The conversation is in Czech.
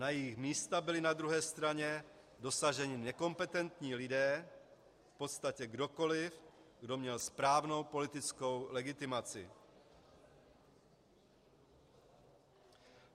Na jejich místa byli na druhé straně dosazeni nekompetentní lidé, v podstatě kdokoliv, kdo měl správnou politickou legitimaci.